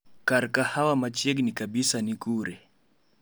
Kar kahawa machiegni kabisa ni kure?